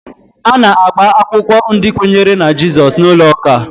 A na-agba akwụkwọ ndị kwenyere na Jizọs n'ụlọ ụka